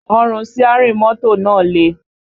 Ọrùn síárìn mọ́tò náà le